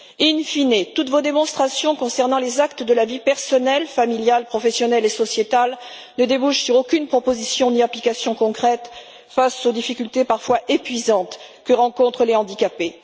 In fine toutes vos démonstrations concernant les actes de la vie personnelle, familiale, professionnelle et sociétale ne débouchent sur aucune proposition ni application concrète face aux difficultés parfois épuisantes que rencontrent les handicapés.